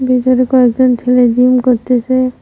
এখানে কয়েকজন ছেলে জিম করতেছে।